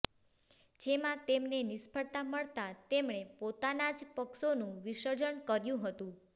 જેમાં તેમને નિષ્ફળતા મળતા તેમણે પોતાના જ પક્ષોનું વિસર્જન કર્યું હતું